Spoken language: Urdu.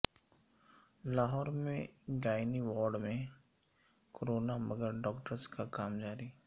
لاہور میں گائنی وارڈ میں کورونا مگر ڈاکٹرز کا کام جاری